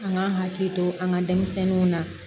An ka hakili to an ka denmisɛnninw na